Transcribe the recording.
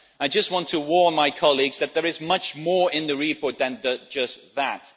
I just want to warn my colleagues that there is much more in the report than just that.